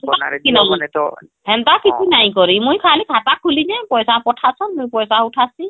ହେନ୍ତା କିଛି ନାଇଁ ହେନ୍ତା କିଛି ନାଇଁ କରି ମୁଇଁ ଖାଲି ଖାତା ଖୁଲିଛି ପଇସା ପଠା ଛ ମୁଇଁ ପଇସା ଉଠାଛି